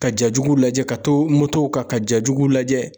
Ka jajugu lajɛ ka to motow kan ja jugulajɛ